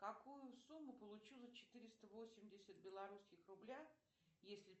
какую сумму получу за четыреста восемьдесят белорусских рубля если